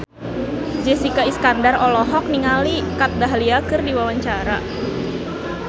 Jessica Iskandar olohok ningali Kat Dahlia keur diwawancara